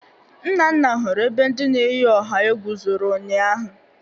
Nnanna hụrụ ebe ndị na-eyi ọha egwu zoro ụnyaahụ